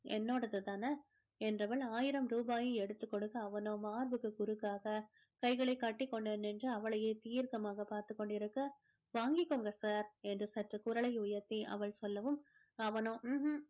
என்னோடது தானே என்றவள் ஆயிரம் ரூபாயை எடுத்து கொடுக்க அவனோ மார்புக்கு குறுக்காக கைகளை கட்டி கொண்டு நின்று அவளையே தீர்க்கமாக பார்த்து கொண்டிருக்க வாங்கிக்கோங்க sir என்று சற்று குரலை உயர்த்தி அவள் சொல்லவும் அவனோ ம்ஹும்